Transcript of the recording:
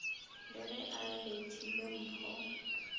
le ge a bethile mpho